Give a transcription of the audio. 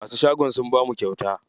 Masu shagon sun bamu kyauta.